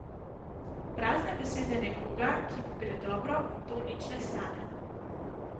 Prazne besede nekoga, ki mu gre dobro, to nič ne stane.